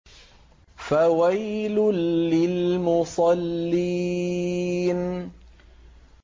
فَوَيْلٌ لِّلْمُصَلِّينَ